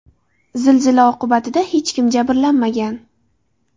Zilzila oqibatida hech kim jabrlanmagan.